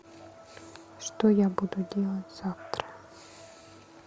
что я буду делать завтра